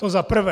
To za prvé.